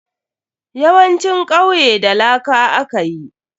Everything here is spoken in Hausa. Yawancin kwaiye da laka aka yi.